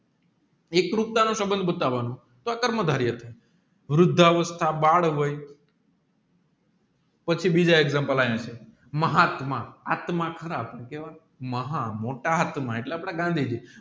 સબંધ બતાવાનું અથવા કર્મ ધરી વૃદ્ધ અવસ્થા બાદ હોય પચીબીજા એક્ષામપ્લે અહિયાં છે મહાત્મા મહા આત્મા એટલે પોતા આત્મા